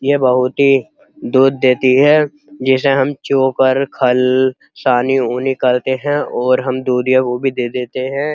ये बहोत ही दूध देती है। जिसे हम चोकर खल सानी और हम दूध या वो भी दे देते हैं।